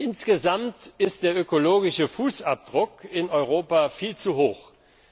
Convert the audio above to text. Insgesamt ist der ökologische Fußabdruck in Europa viel zu groß.